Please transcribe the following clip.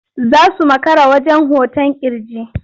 Za su makara zuwa wajen hoton ƙirji.